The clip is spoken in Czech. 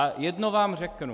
A jedno vám řeknu.